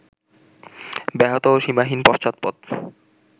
ব্যাহত ও সীমাহীন পশ্চাৎপদ